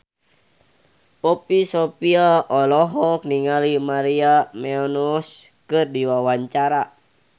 Poppy Sovia olohok ningali Maria Menounos keur diwawancara